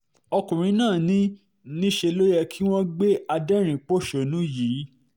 ọkùnrin náà ní níṣe ló yẹ kí wọ́n gbé adẹ́rìn-ín-pọ̀ṣọ́nù yìí